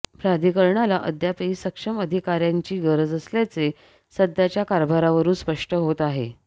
प्राधिकरणाला अद्यापही सक्षम अधिकाऱ्यांची गरज असल्याचे सध्याच्या कारभारावरुन स्पष्ट होत आहे